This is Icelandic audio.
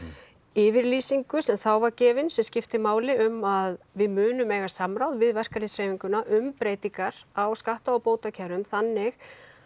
yfirlýsingu sem þá var gefin sem skipti máli um að við munum eiga samráð við verkalýðshreyfinguna um breytingar á skatta og bótakerfum þannig